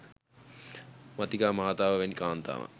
මාතිකා මාතාව වැනි කාන්තාවන්